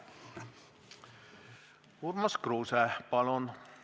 Urmas Kruuse, palun!